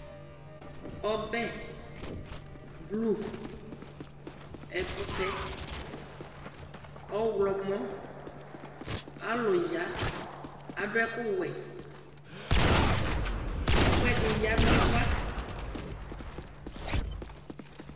Ɔbɛblu, ɛkʋtɛ ɔɣlɔmɔ, alʋ ya, adʋ ɛkʋwɛ, ɛkʋɛdɩ ya nʋ ava